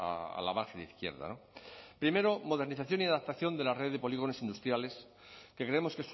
a la margen izquierda primero modernización y adaptación de la red de polígonos industriales que creemos